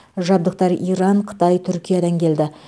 жабдықтар иран қытай түркиядан келді